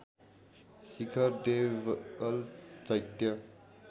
शिखर देवल चैत्य